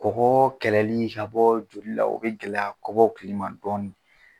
Kɔgɔ kɛlɛli ka bɔ joli la o bɛ gɛlɛya kɔmɔkili ma dɔɔnin